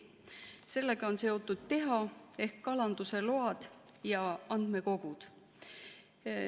Sellega on seotud TEHA ehk kalanduse load ja andmekogud.